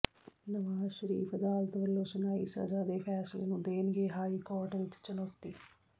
ਨਵਾਜ਼ ਸ਼ਰੀਫ ਅਦਾਲਤ ਵੱਲੋਂ ਸੁਣਾਈ ਸਜ਼ਾ ਦੇ ਫੈਸਲੇ ਨੂੰ ਦੇਣਗੇ ਹਾਈ ਕੋਰਟ ਵਿਚ ਚੁਣੌਤੀ